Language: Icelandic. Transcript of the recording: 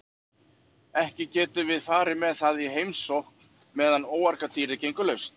Ekki getum við farið með það í heimsókn meðan óargadýrið gengur laust.